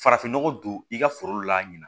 Farafinnɔgɔ don i ka foro la ɲina